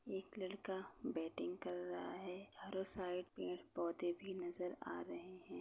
एक लड़का बैटिंग कर रहा है और साइड में पोधे भी नज़र आ रहे हैं।